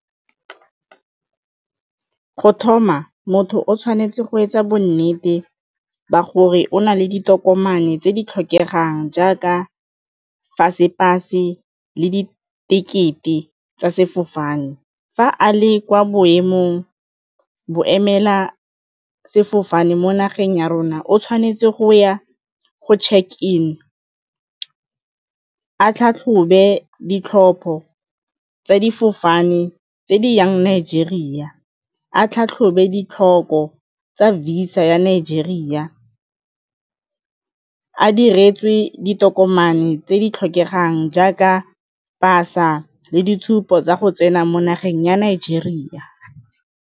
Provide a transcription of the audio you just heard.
Go thoma, motho o tshwanetse go etsa bonnete ba gore o na le ditokomane tse di tlhokegang jaaka le ditekete tsa sefofane. Fa a le kwa boemela sefofane mo nageng ya rona o tshwanetse go ya go check in a tlhatlhobe ditlhopho tsa difofane tse di yang Nigeria, a tlhatlhobe ditlhoko tsa Visa ya Nigeria, a diretswe ditokomane tse di tlhokegang jaaka pasa le ditshupo tsa go tsena mo nageng ya Nigeria.